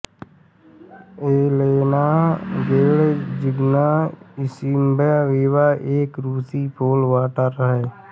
Yelena Gadzhievna Isinbayeva एक रूसी pole vaulter हैं